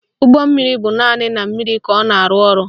Ụgbọmmiri bụ naanị na mmiri ka ọ na-arụ ọrụ